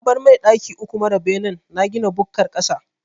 Na bar mai daki uku mara benen na gina bukkar ƙasa.